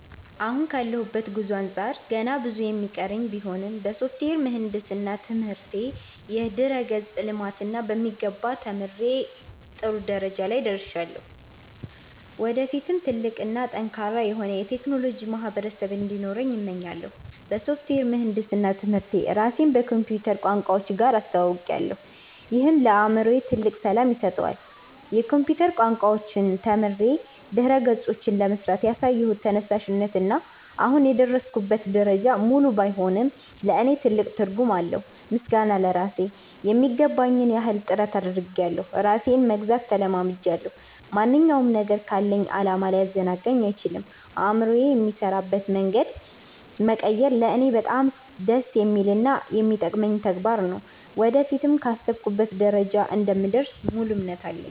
አሁን ካለሁበት ጉዞ አንጻር ገና ብዙ የሚቀረኝ ቢሆንም፣ በሶፍትዌር ምህንድስና ትምህርቴ የድረ-ገጽ ልማትን በሚገባ ተምሬ ጥሩ ደረጃ ላይ ደርሻለሁ። ወደፊትም ትልቅ እና ጠንካራ የሆነ የቴክኖሎጂ ማህበረሰብ እንዲኖረኝ እመኛለሁ። በሶፍትዌር ምህንድስና ትምህርቴ ራሴን ከኮምፒውተር ቋንቋዎች ጋር አስተውውቄያለሁ፤ ይህም ለአእምሮዬ ትልቅ ሰላም ይሰጠዋል። የኮምፒውተር ቋንቋዎችን ተምሬ ድረ-ገጾችን ለመሥራት ያሳየሁት ተነሳሽነት እና አሁን የደረስኩበት ደረጃ፣ ሙሉ ባይሆንም ለእኔ ትልቅ ትርጉም አለው። ምስጋና ለራሴ ....የሚገባኝን ያህል ጥረት አድርጌያለሁ ራሴንም መግዛት ተለማምጃለሁ። ማንኛውም ነገር ካለኝ ዓላማ ሊያዘናጋኝ አይችልም። አእምሮዬ የሚሠራበትን መንገድ መቀየር ለእኔ በጣም ደስ የሚልና የሚጠቅመኝ ተግባር ነው። ወደፊትም ካሰብኩበት ደረጃ እንደምደርስ ሙሉ እምነት አለኝ።